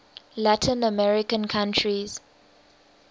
latin american countries